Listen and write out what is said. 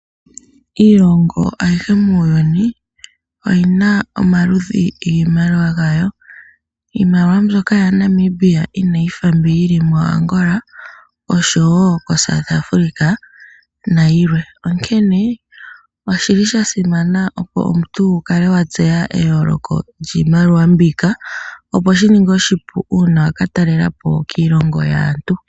Iilongo ayihe muuyuni oyina omaludhi giimaliwa yawo. Iimaliwa mbyoka yili moNamibia inayi fa mbi yili muAngola osho woo koSouth Africa nayilwe. Onkene oshasimana opo omuntu wukale watseya eyooloko lyiimaliwa mbika opo shininge oshipu uuna waka talelapo kiilongo yaantu.